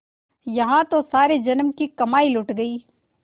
यहाँ तो सारे जन्म की कमाई लुट गयी